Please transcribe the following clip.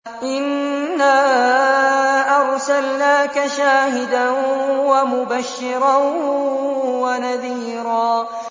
إِنَّا أَرْسَلْنَاكَ شَاهِدًا وَمُبَشِّرًا وَنَذِيرًا